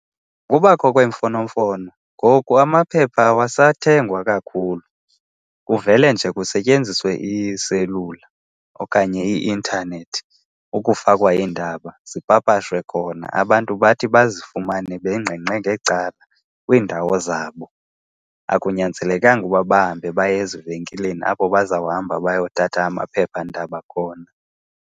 Kubakho kweemfonomfono, ngoku amaphepha awasathengwa kakhulu, kuvele nje kusetyenziswe iiselula okanye i-intanethi ukufakwa iindaba, zipapashwe khona. Abantu bathi bazifumane bengengqe ngecala kwiindawo zabo, akunyanzelekanga uba bahambe baye ezivenkileni apho bazawuhamba bayothatha amaphephandaba khona.